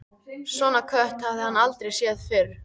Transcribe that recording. Svona kött hafði hann aldrei séð fyrr.